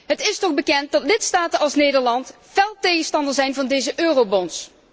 Het is toch bekend dat lidstaten als Nederland fel tegenstander zijn van deze eurobonds.